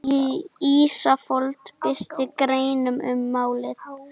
Ísafold birti grein um málið